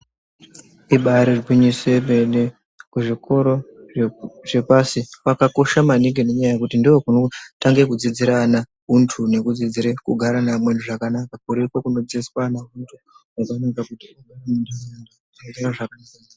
Ibari gwinyiso yemene kuzvikoro zvepashi kwakakosha maningi. Nenyaya yekuti ndokunotanga kudzidzira ana huntu nekudzidzire kugara neamweni zvakanaka.